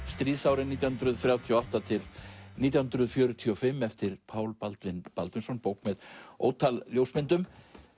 stríðsárin nítján hundruð þrjátíu og átta til nítján hundruð fjörutíu og fimm eftir Pál Baldvin Baldvinsson bók með ótal ljósmyndum